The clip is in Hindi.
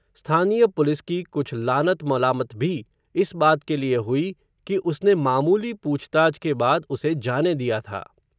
स्थानीय पुलिस की कुछ, लानत मलामत भी, इस बात के लिए हुई, कि उसने मामूली पूछताछ के बाद, उसे जाने दिया था